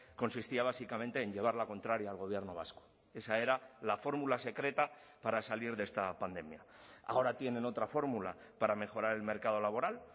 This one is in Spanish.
consistía básicamente en llevar la contraria al gobierno vasco esa era la fórmula secreta para salir de esta pandemia ahora tienen otra fórmula para mejorar el mercado laboral